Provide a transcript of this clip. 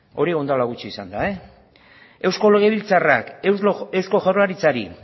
hori orain dela gutxi izan da eusko legebiltzarrak eusko jaurlaritzari